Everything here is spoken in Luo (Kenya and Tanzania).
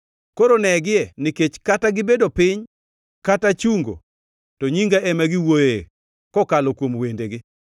Koro negie nikech kata gibedo piny kata chungo to nyinga ema giwuoyoe kokalo kuom wendegi.